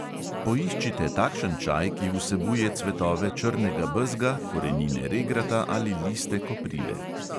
Poiščite takšen čaj, ki vsebuje cvetove črnega bezga, korenine regrata ali liste koprive.